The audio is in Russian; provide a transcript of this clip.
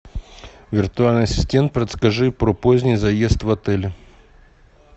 виртуальный ассистент подскажи про поздний заезд в отеле